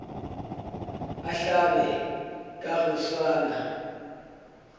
a hlabe ka go swana